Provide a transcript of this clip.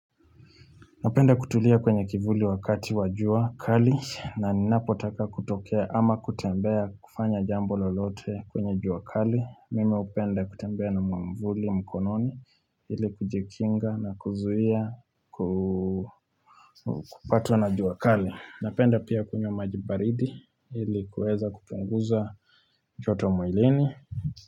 Napenda kutulia kwenye kivuli wakati wa juakali na ninapotaka kutokea ama kutembea kufanya jambo lolote kwenye juakali. Mimi upenda kutembea na mwamvuli mkononi ili kujikinga na kuzuia kupatwa na juakali. Napenda pia kunywa maji baridi ili kueza kupunguza joto mwilini.